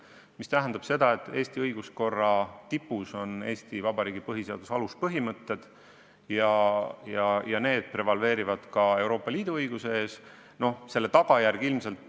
See tähendab seda, et Eesti õiguskorra tipus on Eesti Vabariigi põhiseaduse aluspõhimõtted ja need prevaleerivad ka Euroopa Liidu õiguse ees.